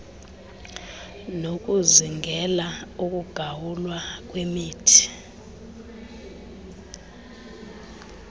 nokuzingela ukugawulwa kwemithi